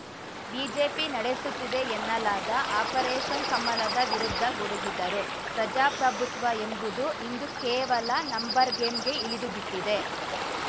BJP ನಡೆಸುತ್ತಿದೆ ಎನ್ನಲಾದ operation ಕಮಲದ ವಿರುದ್ಧ ಗುಡುಗಿದರು ಪ್ರಜಾಪ್ರಭುತ್ವ ಎಂಬುದು ಇಂದು ಕೇವಲ ನಂಬರ್‌ ಗೇಮ್‌ಗೆ ಇಳಿದುಬಿಟ್ಟಿದೆ